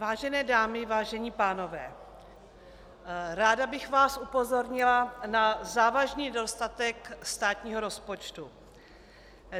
Vážené dámy, vážení pánové, ráda bych vás upozornila na závažný nedostatek státního rozpočtu.